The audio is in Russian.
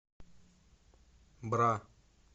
бра